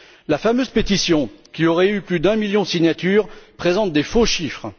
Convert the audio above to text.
La fameuse pétition, qui aurait recueilli plus d'un million de signatures, présente des faux chiffres.